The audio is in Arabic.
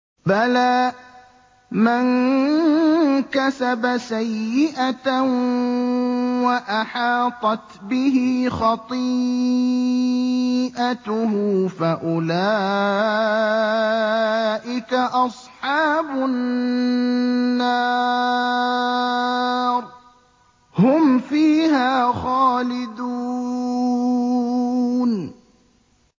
بَلَىٰ مَن كَسَبَ سَيِّئَةً وَأَحَاطَتْ بِهِ خَطِيئَتُهُ فَأُولَٰئِكَ أَصْحَابُ النَّارِ ۖ هُمْ فِيهَا خَالِدُونَ